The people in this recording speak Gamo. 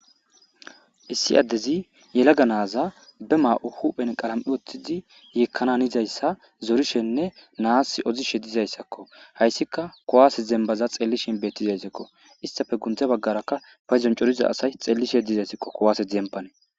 Issi addezi yelaga naaza be maa7u huphen qalami oththidi yeekkanan izayssa zorishenne naas ozishe dizayssakko hayssika kowaase zembaza xellishin bettizayssekko istafe gunthe baggaraka fayzon coriza asay xellishe dizaysiqo kowaase dembane.